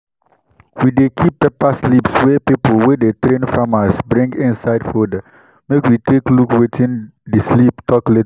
we dey keep paper slips wey people wey dey train farmers bring inside folder make we take look wetin di slip tok later.